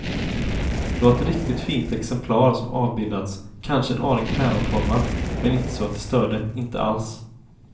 Det var ett riktigt fint exemplar som avbildats, kanske en aning päronformad, men inte så att det störde, inte alls.